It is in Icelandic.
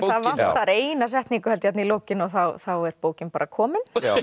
vantar eina setningu þarna í lokin og þá er bókin komin